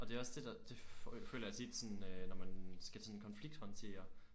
Og det er også det der det føler jeg tit sådan øh når man skal sådan konflikthåndtere